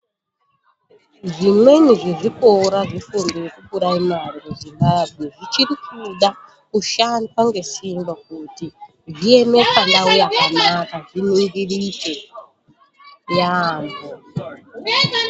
Zvimweni zvezvikora zvefundo yekupuraimari muZimbabwe zvichiri kuda kushanda ngesimba kuti zvieme pandau yakanaka, zviningirike yaambo.